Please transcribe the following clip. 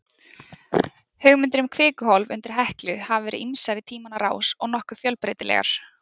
Hugmyndir um kvikuhólf undir Heklu hafa verið ýmsar í tímans rás og nokkuð fjölbreytilegar.